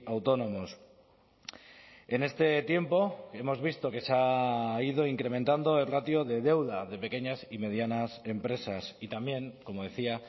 autónomos en este tiempo hemos visto que se ha ido incrementando el ratio de deuda de pequeñas y medianas empresas y también como decía